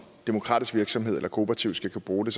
demokratisk virksomhed eller kooperativ skal kunne bruge